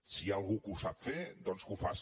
si hi ha algú que ho sap fer doncs que ho faci